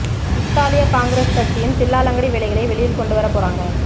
இத்தாலிய காங்கிரஸ் கட்சியின் தில்லாலங்கடி வேலைகளை வெளியில் கொண்டு வர போறாங்க